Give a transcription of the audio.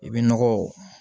I bɛ nɔgɔ